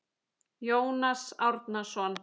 Jónas Árnason